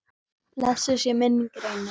Blessuð sé minning Reynis.